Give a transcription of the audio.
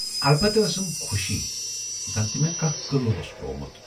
اَلبتہٕ ٲسٕم خۅشی، زَن تہِ مے کانہہ قلعہٕ اوس پروومُت۔